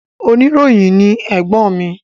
Oníròyìn ni ẹ̀gbọ́n mi